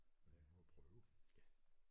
Men jeg må prøve